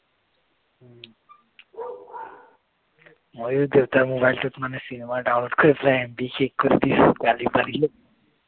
ময়ো দেউতাৰ mobile টোত মানে চিনেমা download কৰি পেলাই MB শেষ কৰি দিছো গালি পাৰিলে